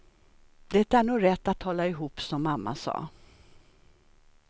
Det är nog rätt att hålla ihop, som mamma sa.